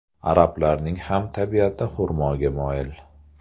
Arablarning ham tabiati xurmoga moyil.